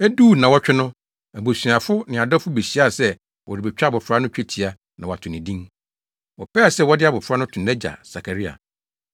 Eduu nnaawɔtwe no, abusuafo ne adɔfo behyiaa sɛ wɔrebetwa abofra no twetia na wɔato ne din. Wɔpɛɛ sɛ wɔde abofra no to nʼagya Sakaria.